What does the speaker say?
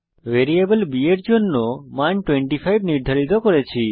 variable b এর জন্য মান 25 নির্ধারিত করেছি